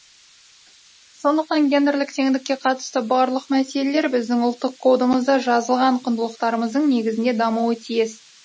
сондықтан гендерлік теңдікке қатысты барлық мәселелер біздің ұлттық кодымызда жазылған құндылықтарымыздың негізінде дамуы тиіс